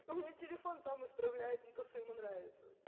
у меня телефон сам исправляет на то что ему нравится